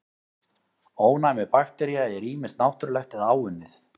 Ónæmi baktería er ýmist náttúrlegt eða áunnið.